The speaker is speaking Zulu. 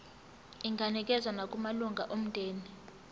inganikezswa nakumalunga omndeni